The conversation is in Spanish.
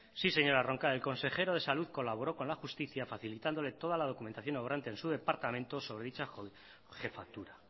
sí señora roncal el consejero de salud colaboro con la justicia facilitándole toda la documentación obrante en su departamento sobre dicha jefatura